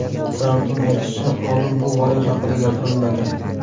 Trampning aytishicha, oldin bu g‘oya haqida gapirilmagan.